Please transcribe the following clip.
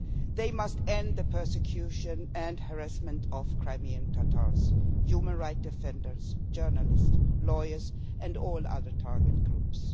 They must end the persecution and harassment of Crimean Tatars, human rights defenders, journalists, lawyers, and all other target groups.